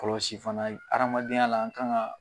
Kɔlɔsi fana, adamadenya la an kan ka